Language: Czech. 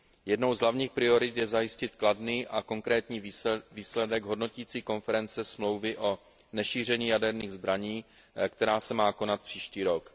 Jednou z hlavních priorit je zajistit kladný a konkrétní výsledek hodnotící konference Smlouvy o nešíření jaderných zbraní, která se má konat příští rok.